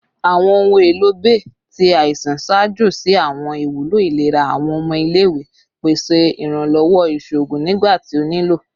Awọn ohun elo bay ti aisan ṣaajo si awọn iwulo ilera awọn ọmọ ile-iwe, pese iranlọwọ iṣoogun nigbati o nilo